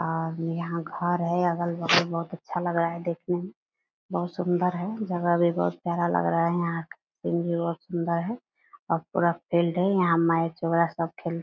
और यहाँ घर है अगल-बगल बहुत अच्छा लग रहा है देखने में बहुत सुन्दर है जगह भी बहुत प्यारा लग रहा है यहाँ का पेड़ भी बहुत सुन्दर है और पूरा फील्ड है यहाँ मैच वगेरह सब खेल --